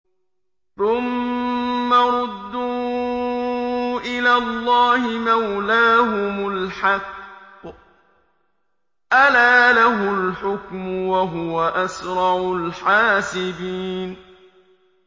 ثُمَّ رُدُّوا إِلَى اللَّهِ مَوْلَاهُمُ الْحَقِّ ۚ أَلَا لَهُ الْحُكْمُ وَهُوَ أَسْرَعُ الْحَاسِبِينَ